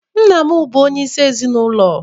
Nna bụ onyeịsi ezinụlo